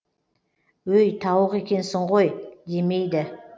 өй тауық екенсің ғой демейді